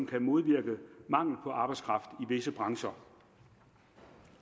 kan modvirke mangel på arbejdskraft i visse brancher